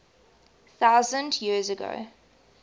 thousand years ago